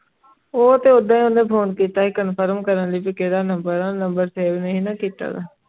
ਉਹ ਤੇ ਉਸ ਨੀ ਫੋਨ ਕੀਤਾ ਸੀ ਕਨਫਰਮ ਕਰਨ ਲਾਇ ਕੇਦਾ ਨੰਬਰ ਹੈ ਨੰਬਰ ਨਾਈ ਸੀ ਨਾ ਕੀਤਾ ਮੈਂ